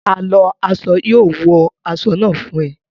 A lọ aṣọ yóò wo aṣọ náà fún ẹ